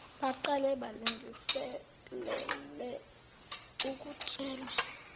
baqale balungiselele ukutshela